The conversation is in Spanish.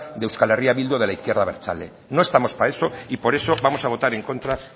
de euskal herria bildu o de la izquierda abertzale no estamos para eso y por eso vamos a votar en contra